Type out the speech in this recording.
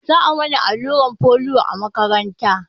Za a mana allurar folio a makaranta